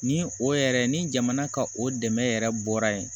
Ni o yɛrɛ ni jamana ka o dɛmɛ yɛrɛ bɔra yen